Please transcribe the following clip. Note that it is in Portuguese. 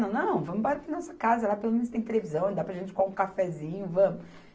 Não, não, vamos embora para a nossa casa, lá pelo menos tem televisão, dá para a gente coar um cafezinho, vamos.